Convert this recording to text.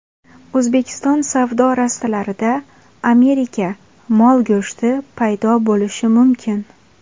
O‘zbekiston savdo rastalarida Amerika mol go‘shti paydo bo‘lishi mumkin.